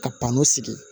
Ka panko sigi